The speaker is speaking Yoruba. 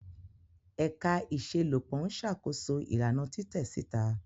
Ẹka iṣelọpọ n ṣakoso ilana titẹ sita.